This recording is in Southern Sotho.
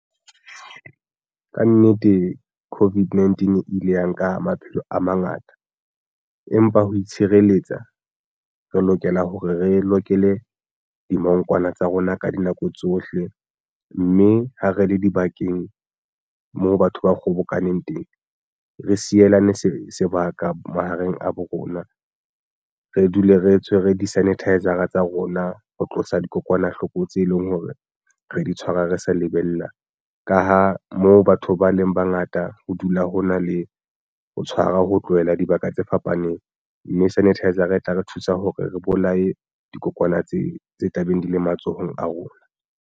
Kannete COVID-19 e ile ya nka maphelo a mangata, empa ho itshireletsa re lokela hore re lokele dimongkwana tsa rona ka dinako tsohle, mme ha re le dibakeng moo batho ba kgobokaneng teng re sielane sebaka mahareng a bo rona. Re dule re tshwere di-sanitiser a tsa rona ho tlosa dikokwanahloko tse leng hore re di tshwara re se lebellang. Nna ka ho moo batho ba neng ba ngata ho dula ho na le ho tshwara ho tlohela dibaka tse fapaneng mme sanitiser e tla re thusa hore re bolaye dikokonyana tse tla beng di le matsohong a rona.